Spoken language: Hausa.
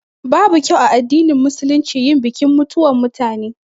Babu kyau a addinin Musulunci yin bikin mutuwan mutane